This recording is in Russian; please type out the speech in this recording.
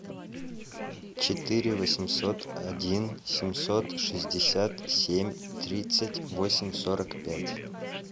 четыре восемьсот один семьсот шестьдесят семь тридцать восемь сорок пять